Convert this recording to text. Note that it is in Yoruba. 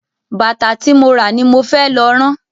Bàtà ti mo ra ni mo fẹ́ lọ rán.